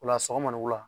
Ola sɔgɔma ni wula